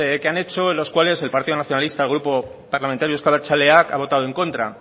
que han hecho los cuales el partido nacionalista el grupo parlamentario euzko abertzaleak ha votado en contra